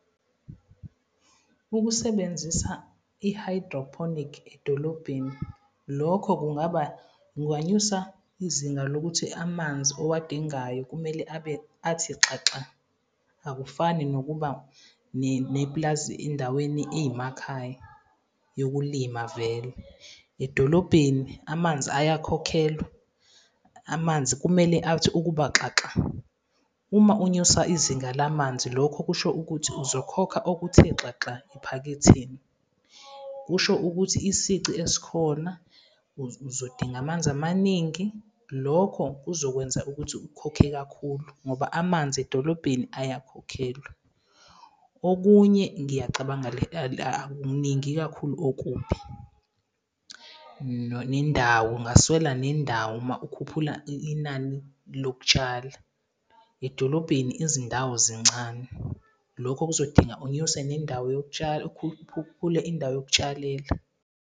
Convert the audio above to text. Ukusebenzisa i-hydroponic edolobheni, lokho kungaba, kunganyusa izinga lokuthi amanzi owadingayo kumele abe athi xaxa akufani nokuba nepulazi endaweni eyimakhaya yokulima vele. Edolobheni amanzi ayakhokhelwa, amanzi kumele athi ukubaxaxa. Uma unyusa izinga lamanzi, lokho kusho ukuthi uzokhokha okuthe xaxa ephaketheni. Kusho ukuthi isici esikhona uzodinga amanzi amaningi. Lokho kuzokwenza ukuthi ukhokhe kakhulu ngoba amanzi edolobheni ayakhokhelwa. Okunye ngiyacabanga le akukuningi kakhulu okubi. Nendawo ungaswela nendawo uma ukhuphula inani lokutshala. Edolobheni izindawo zincane, lokho kuzodinga unyuse nendawo yokutshala. Ukhuphule indawo yokutshalela.